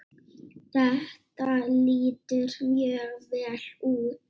Þetta lítur mjög vel út.